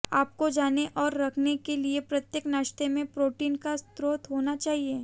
आपको जाने और रखने के लिए प्रत्येक नाश्ते में प्रोटीन का स्रोत होना चाहिए